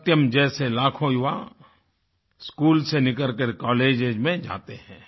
सत्यम जैसे लाखों युवा स्कूल से निकल करके कॉलेजेस में जाते हैं